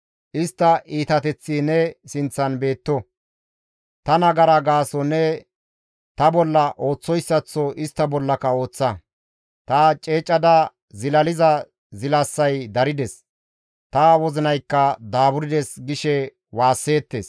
«Istta iitateththi ne sinththan beetto; ta nagara gaason ne ta bolla ooththoyssaththo istta bollaka ooththa; ta ceecada zilaliza zilasay darides; ta wozinaykka daaburdes» gishe waasseettes.